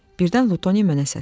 Birdən Lutoni mənə səslənir.